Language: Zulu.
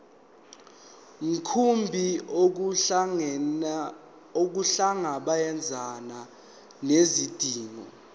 mkhumbi ukuhlangabezana nezidingo